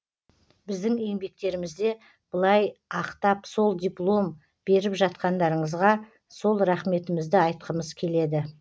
біздің еңбектерімізде былай ақтап сол диплом беріп жатқандарыңызға сол рақметімізді айтқымыз келеді